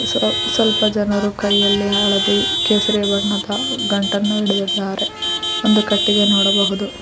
So ಸ್ವಲ್ಪ ಜನರು ಕೈಯಲ್ಲಿ ಹಳದಿ ಕೇಸರಿ ಬಣ್ಣದ ಗಂಟನ್ನು ಹಿಡಿದಿದ್ದಾರೆ ಒಂದು ಕಟ್ಟಿಗೆ ನೋಡಬಹುದು.